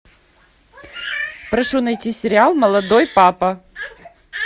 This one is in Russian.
прошу найти сериал молодой папа